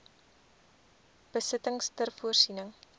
besittings ter voorsiening